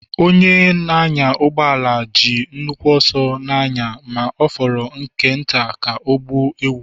Onye na-anya ụgbọ ala ji nnukwu ọsọ na-anya ma ọ fọrọ nke nta ka ọ gbuo ewu.